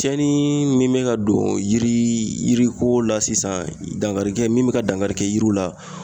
Cɛnni min be ka don yiri ko la sisan ,dankari kɛ min be ka dankari kɛ yiriw la